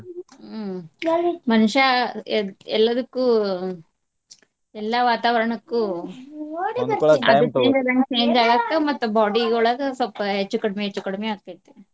ಹ್ಮ್ ಮನಷ್ಯಾ ಎಲ್ಲ ಎಲ್ಲದಕ್ಕು ಅಹ್ ಎಲ್ಲಾ ವಾತಾವರಣಕ್ಕು ಅದ್ change ಆದಂಗ change ಆಗಾಕ್ ಮತ್ತ body ಯೊಳಗ ಸ್ವಪ್ಪ ಹೆಚ್ಚು ಕಡಿಮಿ ಹೆಚ್ಚು ಕಡಿಮಿ ಆಕ್ಕೇತಿ.